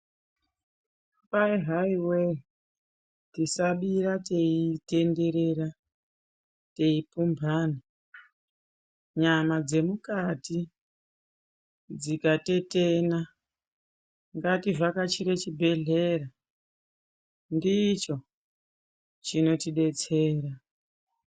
Vana mhai wee, tisamira teitenderera teipombana, nyama dzemukati dzikatetena, ngativhakachire chibhedhlera ndicho chinotidetsera.